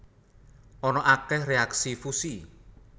Ana akeh reaksi fusi